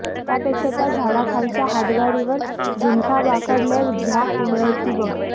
त्यापेक्षा त्या झाडाखालच्या हातगाडीवर झुनकाभाकर लय झ्याक मिळती बघ